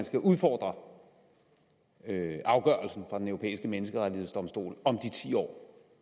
skal udfordre afgørelsen fra den europæiske menneskerettighedsdomstol om de ti år